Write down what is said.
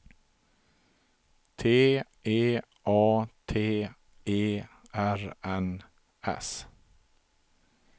T E A T E R N S